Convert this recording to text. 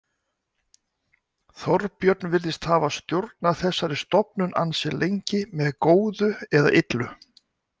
Þorbjörn virðist hafa stjórnað þessari stofnun ansi lengi, með góðu eða illu.